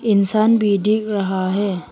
इंसान भी दिख रहा है।